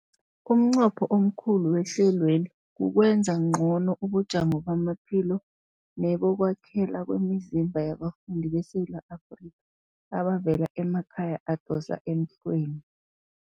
Umnqopho omkhulu wehlelweli kukwenza ngcono ubujamo bamaphilo nebokwakhela kwemizimba yabafundi beSewula Afrika abavela emakhaya adosa emhlweni.